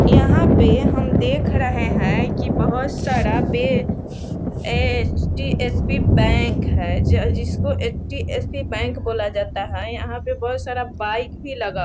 यहाँ पे हम देख रहे हैं की बहुत सारा बे एच.डी.एस.पी बैंक है जिसको एच.डी.एस.पी बैंक बोला जाता है यहाँ बहुत सारा बाइक भी लगा --